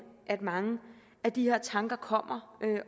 at mange af de her tanker kommer